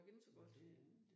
Men det det